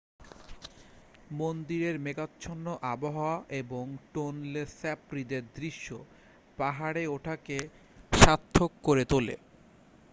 মন্দিরের মেঘাচ্ছন্ন আবহাওয়া এবং টোনলে স্যাপ হ্রদের দৃশ্য পাহাড়ে ওঠাকে সার্থক করে তোলে